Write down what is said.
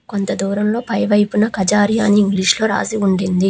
కొంత దూరంలో పై వైపున కజారియా అని ఇంగ్లీషులో రాసి ఉండింది.